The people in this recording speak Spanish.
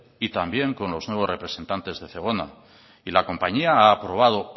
y también con los nuevos representantes de zegona y la compañía ha aprobado